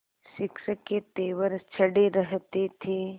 शिक्षक के तेवर चढ़े रहते थे